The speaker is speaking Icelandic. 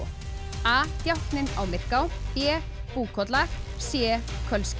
a djákninn á Myrká b Búkolla c